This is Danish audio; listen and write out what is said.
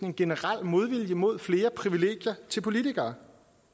en generel modvilje mod flere privilegier til politikere